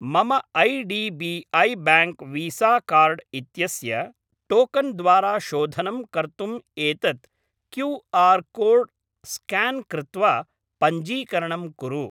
मम I D B I bank visa card इत्यस्य token द्वारा शोधनं कर्तुम् एतत् क्यू.आर् कोड् स्क्यान् कृत्वा पञ्जीकरणं कुरु।